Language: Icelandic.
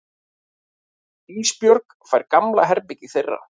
Ísbjörg fær gamla herbergið þeirra.